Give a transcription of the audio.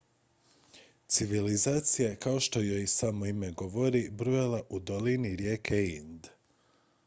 civilizacija je kao što joj i samo ime govori bujala u dolini rijeke ind